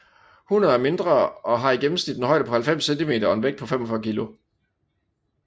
Hunner er mindre og har i gennemsnit en højde på 90 cm og en vægt på 45 kg